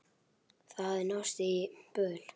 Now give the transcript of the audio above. Það hafði náðst í böðul.